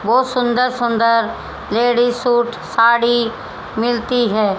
बहुत सुंदर सुंदर लेडीज सूट साड़ी मिलती है।